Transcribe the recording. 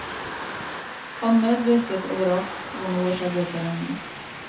Han medvirket overalt hvor noe skjedde i foreningen.